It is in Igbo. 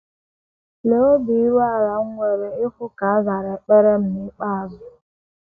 Lee obi iru ala m nwere ịhụ ka a zara ekpere m n’ikpeazụ.